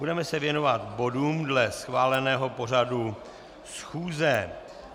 Budeme se věnovat bodům dle schváleného pořadu schůze.